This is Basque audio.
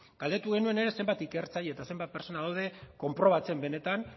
galdetu genuen ere zenbat ikertzaile eta zenbat pertsona daude konprobatzen benetan